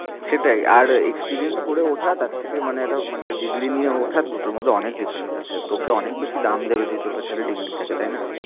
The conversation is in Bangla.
সেটাই আর experience করে ওঠা তার থেকে মানে একটা মানে degree নিয়ে ওঠা দুটোর মধ্যে অনেক difference আছে তোকে অনেক বেশি দাম দেবে যদি তোর কাছে একটা degree থাকে তাই না?